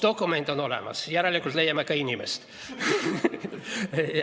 Dokument on olemas, järelikult leiame ka inimese.